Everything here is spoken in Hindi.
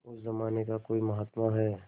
उस जमाने का कोई महात्मा है